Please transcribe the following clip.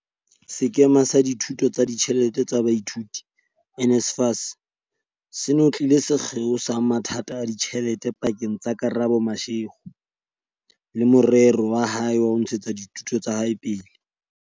Sekema sa Dithuso tsa Ditjhelete tsa Baithuti, NSFAS, se ngotlile sekgeo sa mathata a ditjhelete pa keng tsa Karabo Mashego le morero wa hae wa ho ntshetsa dithuto tsa hae pele.